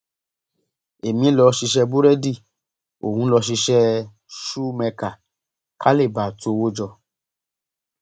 èmi lọọ ṣiṣẹ búrẹdì òun lọọ ṣiṣẹ ṣùù mẹkà ká lè bàa tu owó jọ